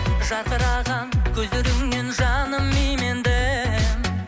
жарқыраған көздеріңнен жаным иемендім